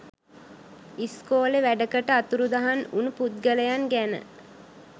ස්කොලේ වැඩකට අතුරුදහන් වුනු පුද්ගලයන් ගැන